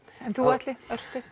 en þú Atli